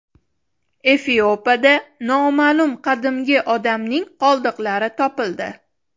Efiopiyada noma’lum qadimgi odamning qoldiqlari topildi.